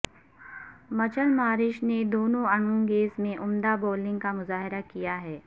مچل Marsh نے دونوں innings میں عمدہ بولنگ کا مظاہرہ کیا ہے